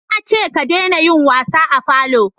na ce ka dena yin wasa a falo!